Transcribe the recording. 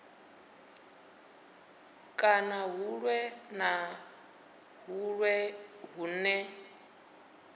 kana huṅwe na huṅwe hune